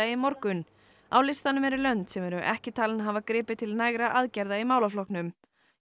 í morgun á listanum eru lönd sem eru ekki talin hafa gripið til nægra aðgerða í málaflokknum